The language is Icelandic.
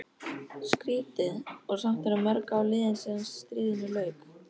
Skrýtið, og samt voru mörg ár liðin síðan stríðinu lauk.